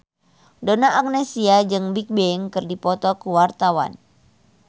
Donna Agnesia jeung Bigbang keur dipoto ku wartawan